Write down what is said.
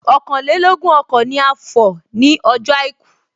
Ọ̀kànlélógún ọkọ̀ ni a fọ̀ nie ọjọ́ àìkú